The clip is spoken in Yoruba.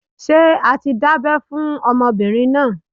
Ṣé a ti dábẹ́ fún ọmọbìnrin náà?